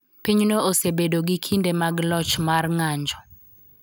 Pinyno osebedo gi kinde mag loch mar ng�anjo.